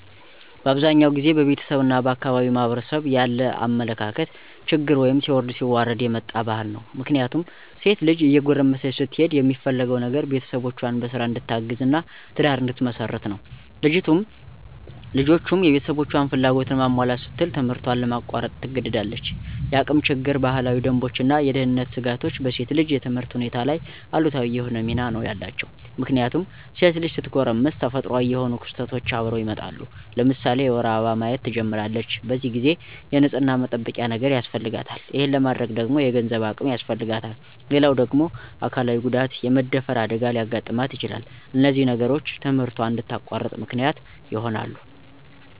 በአብዛኛው ጊዜ በቤተሰብ እና በአካባቢው ማህበረሰብ ያለ የአመለካከት ችግር ወይም ሲወርድ ሲዋረድ የመጣ ባህል ነው። ምክንያቱም ሴት ልጅ እየጎረመሰች ስትሄድ የሚፈለገው ነገር ቤተሰቦቿን በስራ እንድታግዝ እና ትዳር እንድትመሰርት ነው። ልጅቱም የቤተሰቦቿን ፍላጎት ለማሟላት ስትል ትምህርቷን ለማቋረጥ ትገደዳለች። የአቅም ችግር፣ ባህላዊ ደንቦች እና የደህንነት ስጋቶች በሴት ልጅ የትምህርት ሁኔታ ላይ አሉታዊ የሆነ ሚና ነው ያላቸው። ምክንያቱም ሴት ልጅ ስትጎረምስ ተፈጥሮአዊ የሆኑ ክስተቶች አብረው ይመጣሉ። ለምሳሌ የወር አበባ ማየት ትጀምራለች። በዚህ ጊዜ የንፅህና መጠበቂያ ነገር ያስፈልጋታል። ይሄን ለማድረግ ደግሞ የገንዘብ አቅም ያስፈልጋታል። ሌላው ደግሞ አካላዊ ጉዳት( የመደፈር አደጋ) ሊያጋጥማት ይችላል። እነዚህ ነገሮች ትምህርቷን እንድታቋርጥ ምክንያት ይሆናሉ።